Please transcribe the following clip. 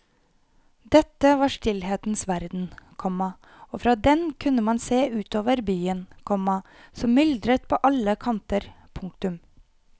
Dette var stillhetens verden, komma og fra den kunne man se ut over byen, komma som myldret på alle kanter. punktum